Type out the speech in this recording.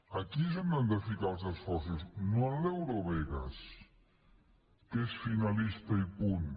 aquí és on han de ficar els esforços no en l’eurovegas que és finalista i punt